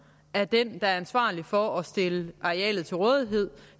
er den der er ansvarlig for at stille arealet til rådighed